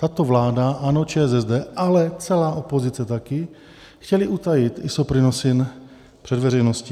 Tato vláda ANO, ČSSD, ale celá opozice také chtěly utajit Isoprinosine před veřejností.